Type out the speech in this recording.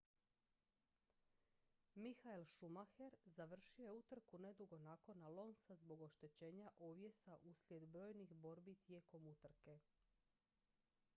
michael schumacher završio je utrku nedugo nakon alonsa zbog oštećenja ovjesa uslijed brojnih borbi tijekom utrke